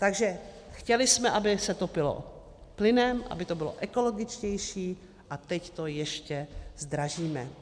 Takže chtěli jsme, aby se topilo plynem, aby to bylo ekologičtější, a teď to ještě zdražíme.